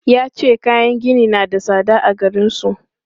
Ya ce kayan gini na da tsada a garin su.